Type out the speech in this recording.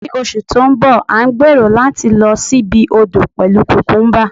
ní oṣù ti nbọ, a n gbero lati lo sí ibi odo pelu cucumba